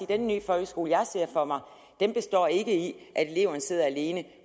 den nye folkeskole jeg ser for mig ikke består i at eleverne sidder alene